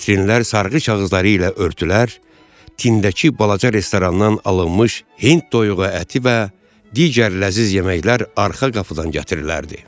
Vitrinlər sarğı kağızları ilə örtülər, tindəki balaca restorandan alınmış hind toyuğu əti və digər ləzziz yeməklər arxa qapıdan gətirilərdi.